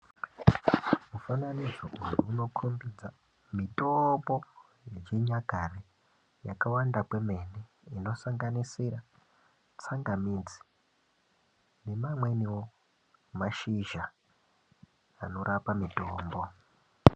Mufananidzo uyu unokhombidza mitombo yechinyakare yakawanda kwemene, inosanganisira tsangamidzi nemamweniwo mashizha anorapa mitombo.